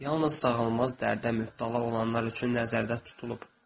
Yalnız sağalmaz dərdə mübtəla olanlar üçün nəzərdə tutulub.